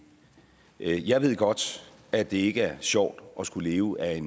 jeg ved godt at det ikke er sjovt at skulle leve af